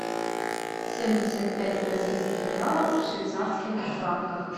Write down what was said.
семьдесят пять бразильских реалов в швейцарских франках